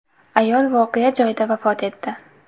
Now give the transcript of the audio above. Ayol voqea joyida vafot etdi.